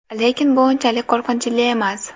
Lekin bu unchalik qo‘rqinchli emas.